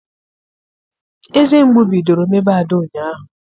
Eze mgbu bidoro mebe Ada ụnyaahụ.